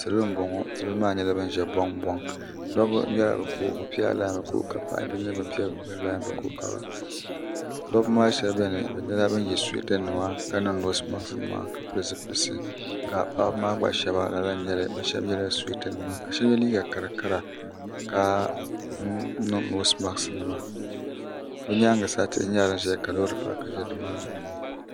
salo n bɔŋɔ salo maa pula buŋ buŋ doba bɛla be ko be pɛla lanima daba maa shɛbi bɛni be pɛla laanima ka niŋ nosimaki nima ma pɛli zupilisi ka paɣba maa gba shɛba lala. bala shɛbi nyɛla suwɛta nima ka niŋ nosimaki be nyɛŋa sa lori nima kuli zaya ha